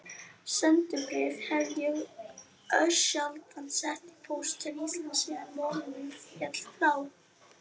Sendibréf hef ég örsjaldan sett í póst til Íslands síðan móðir mín féll frá.